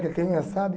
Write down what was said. Que ele tenha, sabe?